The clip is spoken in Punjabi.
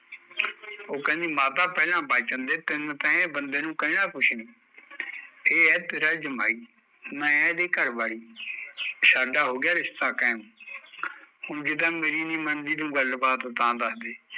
ਉਹ ਕਹਿੰਦੀ ਮਾਤਾ ਪਹਿਲਾਂ ਬਚ ਜਾਂਦੇ ਤਿੰਨ ਤੈ ਇਹ ਬੰਦੇ ਨੂ ਕਹਿਣਾ ਕੁਸ਼ ਨੀ, ਇਹ ਐ ਤੇਰਾ ਜਮਾਈ, ਮੈਂ ਇਹਦੇ ਘਰਵਾਲੀ, ਸਾਡਾ ਹੋਗਿਆ ਰਿਸ਼ਤਾ ਕੈਮ, ਹੁਣ ਤੂ ਜ ਮੇਰੀ ਨੀ ਮੰਨਦੀ ਗੱਲ ਬਾਤ ਤਾਂ ਦੱਸਦੇ